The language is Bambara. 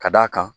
Ka d'a kan